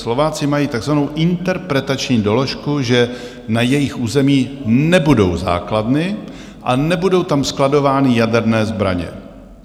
Slováci mají takzvanou interpretační doložku, že na jejich území nebudou základny a nebudou tam skladovány jaderné zbraně.